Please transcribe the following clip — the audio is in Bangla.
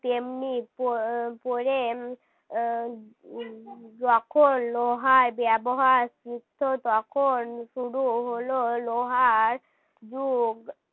তেমনি পরে উম উম যখন লোহার ব্যবহার শিখলো তখন শুরু হল লোহার যুগ